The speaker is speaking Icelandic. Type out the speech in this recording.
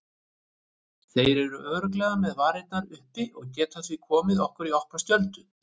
Þeir eru örugglega með varnirnar uppi og geta því komið okkur í opna skjöldu.